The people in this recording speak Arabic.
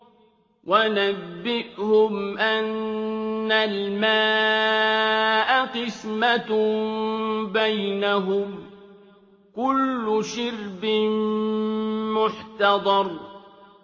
وَنَبِّئْهُمْ أَنَّ الْمَاءَ قِسْمَةٌ بَيْنَهُمْ ۖ كُلُّ شِرْبٍ مُّحْتَضَرٌ